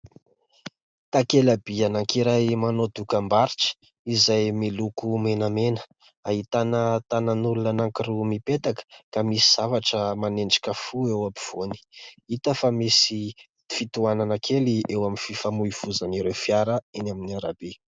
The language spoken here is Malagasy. Takela-by anankiray manao dokam-barotra, izay miloko menamena. Ahitana tanan'olona anankiroa mipetaka, ka misy zavatra manendrika fo eo am-povoany. Hita fa misy fitohanana kely eo amin'ny fifamohivohizan'ireo fiara eny amin'ny arabe.